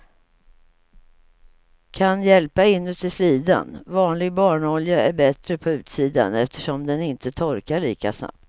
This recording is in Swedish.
Kan hjälpa inuti slidan, vanlig barnolja är bättre på utsidan eftersom den inte torkar lika snabbt.